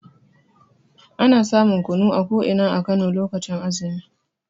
Ana samun kunu a ko ina a Kano lokacin azumi.